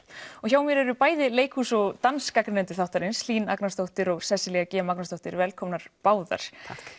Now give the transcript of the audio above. og hjá mér eru bæði leikhús og þáttarins Hlín Agnarsdóttir og Sesselja g Magnúsdóttir velkomnar báðar takk